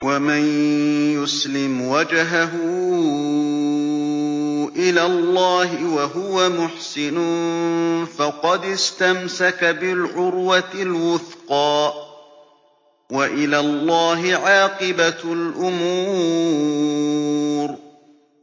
۞ وَمَن يُسْلِمْ وَجْهَهُ إِلَى اللَّهِ وَهُوَ مُحْسِنٌ فَقَدِ اسْتَمْسَكَ بِالْعُرْوَةِ الْوُثْقَىٰ ۗ وَإِلَى اللَّهِ عَاقِبَةُ الْأُمُورِ